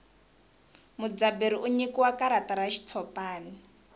mudzaberi u nyikiwa karata ra xitshopani